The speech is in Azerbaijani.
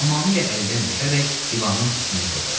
Tamamilə əldən düşərək divanın üstünə yıxıldı.